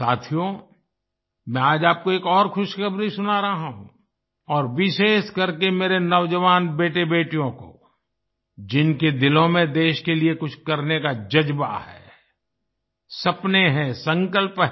साथियो मैं आज आपको एक और खुशखबरी सुना रहा हूँ विशेषकर मेरे नौजवान बेटेबेटियों को जिनके दिलों में देश के लिए कुछ करने का जज़्बा है सपने हैं संकल्प हैं